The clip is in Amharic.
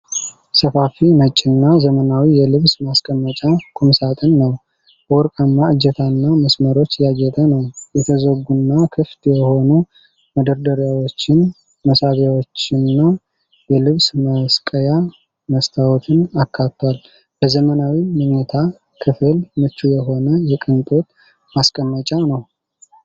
ሰፋፊ፣ ነጭና ዘመናዊ የልብስ ማስቀመጫ ቁምሳጥን ነው። በወርቃማ እጀታዎችና መስመሮች ያጌጠ ነው። የተዘጉና ክፍት የሆኑ መደርደሪያዎችን፣ መሳቢያዎችንና የልብስ መስቀያ መስታወትን አካቷል። ለዘመናዊ መኝታ ክፍል ምቹ የሆነ የቅንጦት ማስቀመጫ ነው።